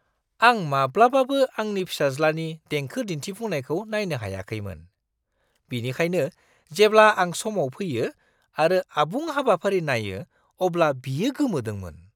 आं माब्लाबाबो आंनि फिसाज्लानि देंखो दिन्थिफुंनायखौ नायनो हायाखैमोन, बेनिखायनो जेब्ला आं समाव फैयो आरो आबुं हाबाफारि नायो अब्ला बियो गोमोदोंमोन।